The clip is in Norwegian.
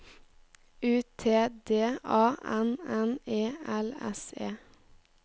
U T D A N N E L S E